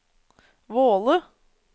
Våle